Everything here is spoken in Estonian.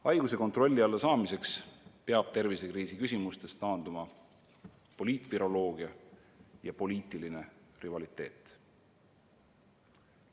Haiguse kontrolli alla saamiseks peavad tervisekriisi lahendamisel poliitviroloogia ja poliitiline rivaliteet taanduma.